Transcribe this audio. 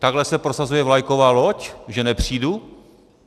Takhle se prosazuje vlajková loď, že nepřijdu?